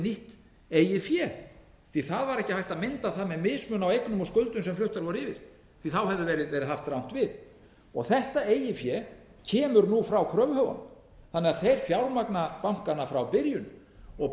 nýtt eigið fé því það varekki hægt að mynda það með mismun á eignum og skuldum sem fluttar voru yfir því það hefði verið haft rangt við þetta eigið fé kemur nú frá kröfuhöfunum þannig að þeir fjármagna bankana frá byrjun bókhaldslega